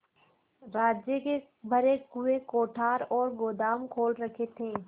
राज्य के भरे हुए कोठार और गोदाम खोल रखे थे